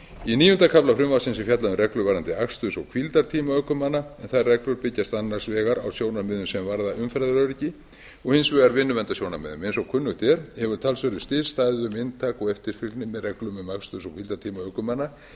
í níunda kafla frumvarpsins er fjallað um reglur varðandi aksturs og hvíldartíma ökumanna en þær byggjast annars vegar a sjónarmiðum sem varða umferðaröryggi og hins vegar vinnuverndarsjónarmiðum eins og kunnugt er hefur talsverður stærri staðið um inntak og eftirfylgni með reglum um aksturs og hvíldartíma ökumanna